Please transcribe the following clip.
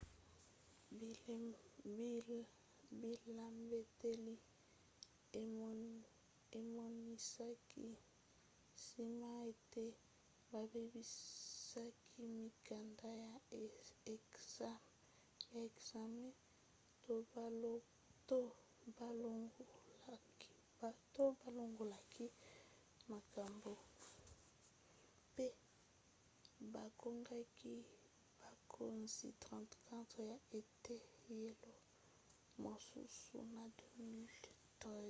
bilembeteli emonisaki nsima ete babebisaki mikanda ya ekzame to balongolaki makambo mpe bakangaki bakonzi 34 ya eteyelo mosusu na 2013